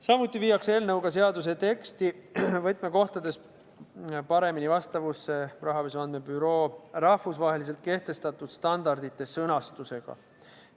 Samuti viiakse eelnõuga seaduse teksti võtmekohtades paremini vastavusse Rahapesu Andmebüroo rahvusvaheliselt kehtestatud standardite sõnastusega.